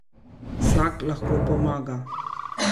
Vsak lahko pomaga.